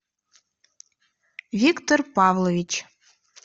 виктор павлович